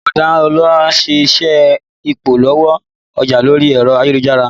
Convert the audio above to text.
Bọ̀dá Ọlá ń ṣe iṣẹ́ Ìpolówó ọjà lórí ẹ̀rọ ayélujára